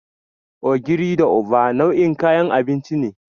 Ogiri da Uba nau'in kayan abinci ne.